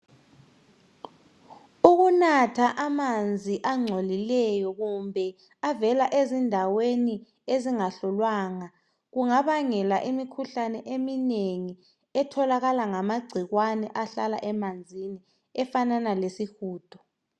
Ukunatha amanzi angcolileyo kumbe avela ezindaweni ezingahlolwanga kungabangela imikhuhlane eminengi etholakala ngamagcikwane ahlala emanzini efanana lesihudo.